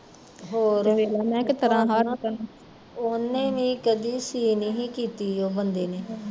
ਓਹਨੇ ਵੀ ਕਦੇ ਸੀ ਨਹੀਂ ਸੀ ਕੀਤੀ ਓਹ ਬੰਦੇ ਨੇ